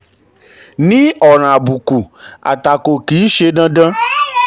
ní ọ̀ràn àbùkù àtakò kì í ṣe dandan.